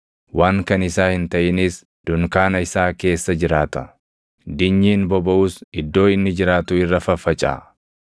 Waan kan isaa hin taʼinis dunkaana isaa keessa jiraata; dinyiin bobaʼus iddoo inni jiraatu irra faffacaʼa.